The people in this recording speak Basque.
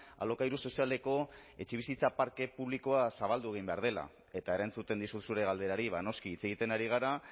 alokairu sozialeko etxebizitza parke publikoa zabaldu egin behar dela eta erantzuten dizut zure galderari noski hitz egiten ari gara